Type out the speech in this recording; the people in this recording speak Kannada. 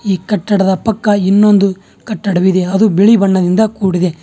ಈ ಕಟ್ಟಡದ ಪಕ್ಕ ಇನ್ನೊಂದು ಕಟ್ಟಡವಿದೆ ಅದು ಬಿಳಿ ಬಣ್ಣದಿಂದ ಕೂಡಿದೆ.